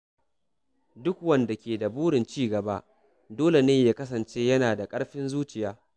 Duk wanda ke da burin ci gaba dole ne ya kasance yana da ƙarfin zuciya.